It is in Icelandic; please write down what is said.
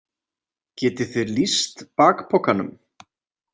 Getið þið lýst bakpokanum?